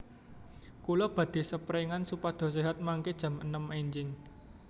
Kulo badhe seprengan supados sehat mangke jam enem enjing